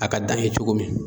A ka dan ye cogo min